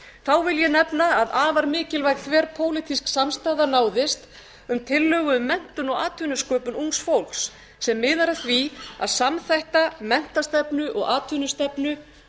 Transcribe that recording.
þá vil ég nefna að afar mikilvæg þverpólitísk samstaða náðist um tillögu um menntum og atvinnusköpun ungs fólks sem miðar að því að samþætta menntastefnu og atvinnustefnu